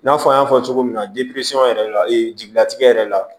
N'a fɔ an y'a fɔ cogo min na yɛrɛ la jigilatigɛ yɛrɛ la